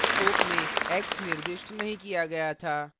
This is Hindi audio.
इस scope में x निर्दिष्ट नहीं किया गया था